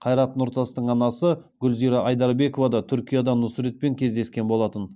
қайрат нұртастың анасы гүлзира айдарбекова да түркияда нұсретпен кездескен болатын